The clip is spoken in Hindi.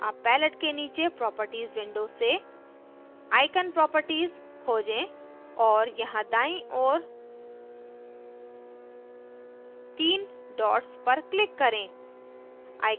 अब palette के नीचे properties window से icon property खोजें और यहाँ दाईं ओर 3 dots पर click करें